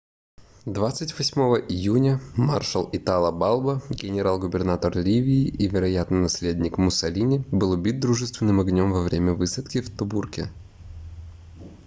28 июня маршал итало балбо генерал-губернатор ливии и вероятный наследник муссолини был убит дружественным огнём во время высадки в тобруке